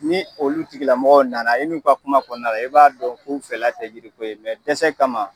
Ni olu tigila mɔgɔw nana e n'u ka kuma kɔnɔna na i b'a dɔn k'u fɛ tɛ yiriko ye dɛsɛ kama